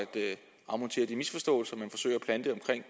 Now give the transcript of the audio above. afmontere de misforståelser man forsøger at plante omkring